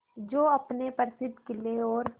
जो अपने प्रसिद्ध किले और